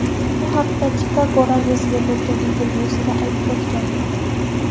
Bu haqda u Chikago radiosiga bergan intervyusida aytib o‘tgan.